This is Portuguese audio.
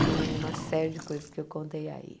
Com uma série de coisas que eu contei aí.